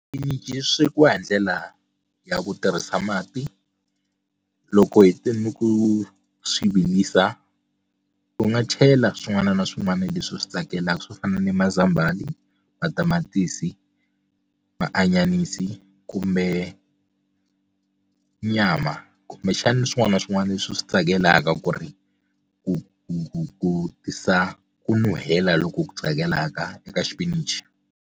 Xipinichi swekiwa hi ndlela ya ku tirhisa mati loko hete ni ku swi virisa u nga chela swin'wana na swin'wana leswi u swi tsakelaka swo fana ni mazambhala matamatisi maanyanisi kumbe nyama kumbexana swin'wana na swin'wana leswi u swi tsakelaka ku ri ku ku ku tisa ku nuhela loku ku tsakelaka eka xipinichi.